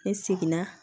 Ne seginna